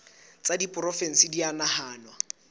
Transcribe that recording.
tsa diporofensi di a nahanwa